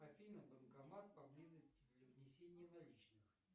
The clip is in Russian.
афина банкомат поблизости для внесения наличных